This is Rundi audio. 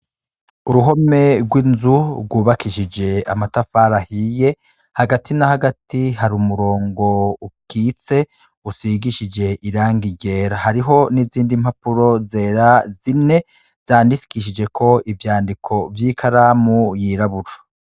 Uruhome gw' inzu gwubakishije amatafari ahiye hagati na hagati hari umurongo ukitse usigishije irangi ryera hariho n' izindi mpapuro zera zine zandikishijeko ivyandiko vy' ikaramu yirabura.